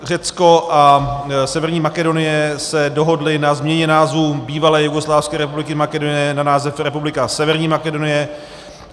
Řecko a Severní Makedonie se dohodly na změně názvu Bývalé jugoslávské republiky Makedonie na název Republika Severní Makedonie.